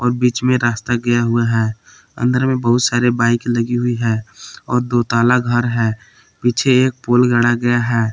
और बीच में रास्ता गया हुआ है अंदर में बहुत सारी बाइक लगी हुई है और दो ताला घर है पीछे एक पोल गाढ़ा गया है।